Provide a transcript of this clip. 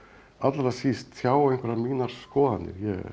allra síst tjá einhverjar mínar skoðanir